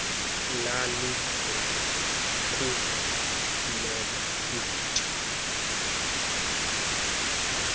lalingana kufuineka ivoti